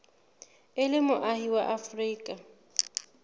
o le moahi wa afrika